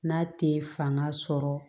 N'a tɛ fanga sɔrɔ